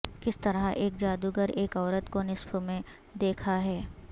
کس طرح ایک جادوگر ایک عورت کو نصف میں دیکھا ہے